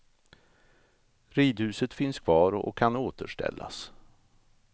Ridhuset finns kvar och kan återställas.